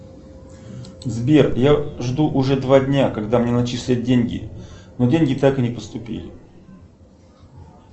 сбер я жду уже два дня когда мне начислят деньги но деньги так и не поступили